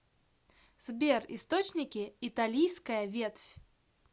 сбер источники италийская ветвь